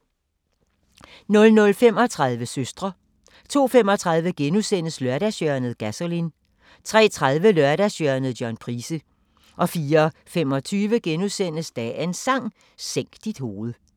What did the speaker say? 00:35: Søstre 02:35: Lørdagshjørnet – Gasolin * 03:30: Lørdagshjørnet – John Price 04:25: Dagens Sang: Sænk dit hoved *